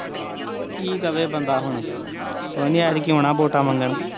ਕੀ ਕਵੇ ਬੰਦਾ ਹੁਣ ਕੋਈ ਨੀ ਐਤਕੀਂ ਆਉਣਾ ਵੋਟਾਂ ਮੰਗਣ